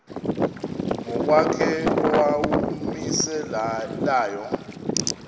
ngokwakhe owawumise layo